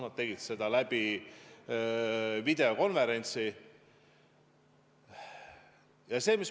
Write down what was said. Nad tegid seda videokonverentsi abil.